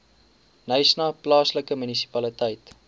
knysna plaaslike munisipaliteit